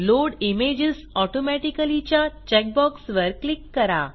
load images automatically च्या check box वर click करा